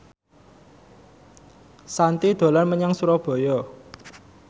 Shanti dolan menyang Surabaya